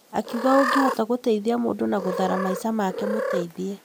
Akiuga ũngĩhota gũteithia mũndũ na gũthara maica make mũteithie.